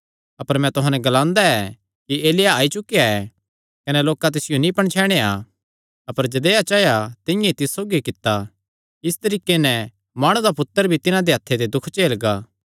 अपर मैं तुहां नैं ग्लांदा ऐ कि एलिय्याह आई चुकेया ऐ कने लोकां तिसियो नीं पणछैणया अपर जदेया चाया तिंआं ई तिस सौगी कित्ता इस तरीके नैं माणु दा पुत्तर भी तिन्हां दे हत्थे ते दुख झेलगा